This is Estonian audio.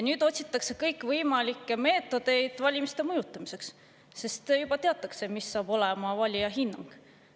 Otsitakse kõikvõimalikke meetodeid valimiste mõjutamiseks, sest juba teatakse, mis saab olema valija hinnang.